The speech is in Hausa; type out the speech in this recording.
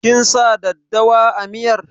Kin sa daddawa a miyar?